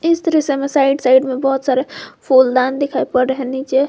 इस दृश्य में साइड साइड में बहुत सारे फूलदान दिखाई पड़ रहे है नीचे--